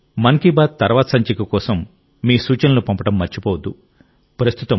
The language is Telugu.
అలాగే మన్ కీ బాత్ తర్వాతి సంచిక కోసం మీ సూచనలను పంపడం మర్చిపోవద్దు